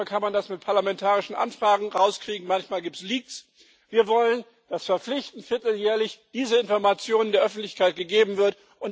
Manchmal kann man das mit parlamentarischen Anfragen rauskriegen manchmal gibt es Leaks. Wir wollen, dass verpflichtend vierteljährlich diese Information der Öffentlichkeit gegeben wird.